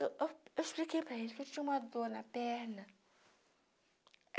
Eu eu eu expliquei para ele que eu tinha uma dor na perna.